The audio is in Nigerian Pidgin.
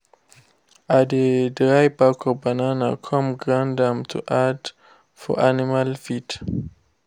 i de dry back of banana come grind am to add for animal feed.